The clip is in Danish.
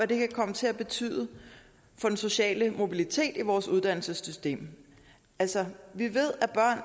det kan komme til at betyde for den sociale mobilitet i vores uddannelsessystem altså vi ved